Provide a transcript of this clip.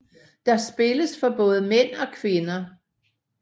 Der spilles for både mænd og kvinder